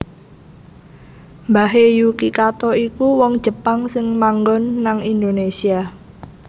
Mbahe Yuki Kato iku wong Jepang sing manggon nang Indonesia